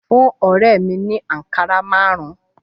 Fún ọ̀rẹ́ mìi ni àkàrà márùn-ún